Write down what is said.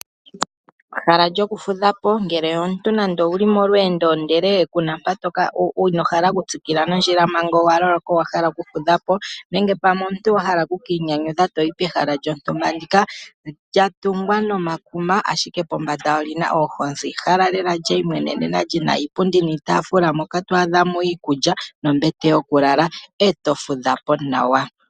Ehala lyokufudha po ngele omuntu owu li molweendo, ihe ino hala okutsikila nondjila manga owa hala okufudha po nenge omuntu wa hala oku ka inyanyudha to yi pehala lyontumba. Olya tungwa nomakuma, ashike pombanda oli na oohozi. Ehala lela li imwenenena moka to adha mo iikulya nombete yokulala e to fudha po nawa.